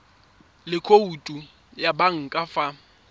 le khoutu ya banka fa